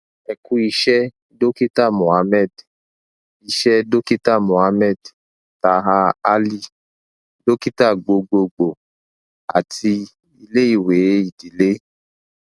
ẹ ku iṣẹ dokita mohammed iṣẹ dokita mohammed taher ali dokita gbogbogbo ati ileiwe idile